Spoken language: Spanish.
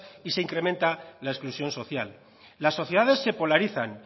y se incrementa la exclusión social las sociedades se polarizan